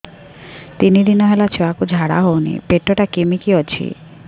ତିନି ଦିନ ହେଲା ଛୁଆକୁ ଝାଡ଼ା ହଉନି ପେଟ ଟା କିମି କି ଅଛି